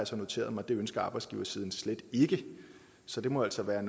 så noteret mig at det ønsker arbejdsgiversiden slet ikke så det må altså være